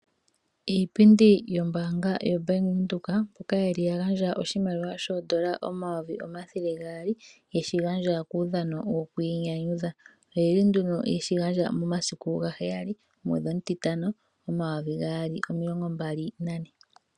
Iipindi yombaanga yobank windhoek, mboka yali yagandja oshimaliwa shoondola N$ 200000 yeshi gandja kuudhano wokwiinyanyudha. Oyali nduno yeshigandja momasiku 07.05.2024.